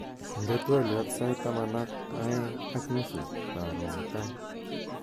inde twolyot sait taman ak oeng'ak nusu korun mutai